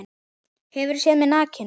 Hefurðu séð mig nakinn?